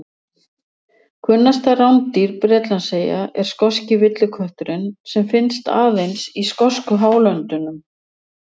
Kunnasta rándýr Bretlandseyja er skoski villikötturinn sem finnst aðeins í skosku hálöndunum.